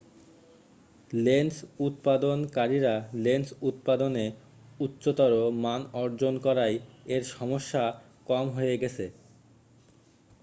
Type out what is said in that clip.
lens উৎপাদন কারীরা lens উৎপাদনে উচ্চতর মান অর্জন করায় এর সমস্যা কম হয়ে গেছে